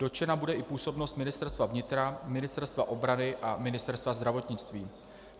Dotčena bude i působnost Ministerstva vnitra, Ministerstva obrany a Ministerstva zdravotnictví.